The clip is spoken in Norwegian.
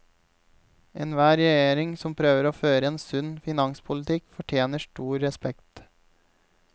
Enhver regjering som prøver å føre en sunn finanspolitikk, fortjener stor respekt.